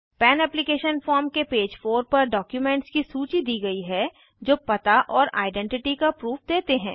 पन application form के page 4 पर डॉक्युमेंट्स की सूची दी गयी है जो पता और आइडेंटिटी का प्रूफ देते हैं